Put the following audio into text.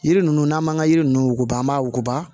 Yiri ninnu n'an m'an ka yiri ninnu wuguba an b'a wuguba